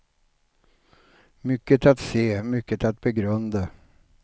Mycket att se, mycket att begrunda.